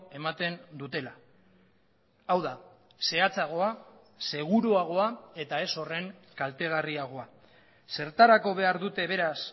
ematen dutela hau da zehatzagoa seguruagoa eta ez horren kaltegarriagoa zertarako behar dute beraz